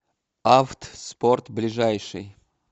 авт спорт ближайший